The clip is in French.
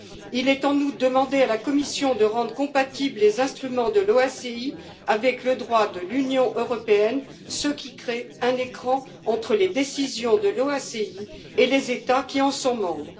Il est en outre demandé à la Commission de rendre compatibles les instruments de l'OACI avec le droit de l'Union européenne, ce qui crée un écran entre les décisions de l'OACI et les États qui en sont membres.